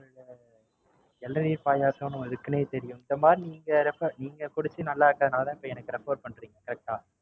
இளநீர் பாயாசம்ன்னு இருக்குன்னே தெரியும். இந்த மாதிரி நீங்க Refer நீங்க குடிச்சு நல்லாருக்கனாலதான் எனக்கு Refer பண்றீங்க Correct ஆ